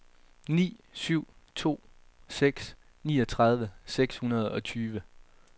ni syv to seks niogtredive seks hundrede og tyve